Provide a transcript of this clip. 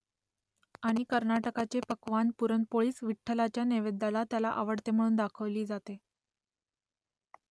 आणि कर्नाटकाचे पक्वान्न पुरणपोळीच विठ्ठलाच्या नैवेद्याला त्याला आवडते म्हणून दाखवली जाते